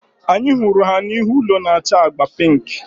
Anyị hụrụ ha n'ihu ụlọ na-acha agba pink